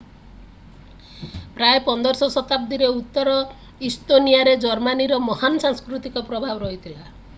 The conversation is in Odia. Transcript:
ପ୍ରାୟ 15ଶ ଶତାବ୍ଦୀରେ ଉତ୍ତର ଇସ୍ତୋନିଆରେ ଜର୍ମନୀର ମହାନ୍ ସାଂସ୍କୃତିକ ପ୍ରଭାବ ରହିଥିଲା